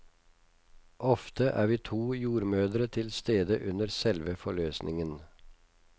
Ofte er vi to jordmødre til stede under selve forløsningen.